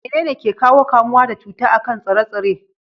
Menene ke ƙawo kamuwa da cuta a kan tsire-tsire?